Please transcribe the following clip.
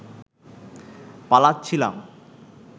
পালাচ্ছিলাম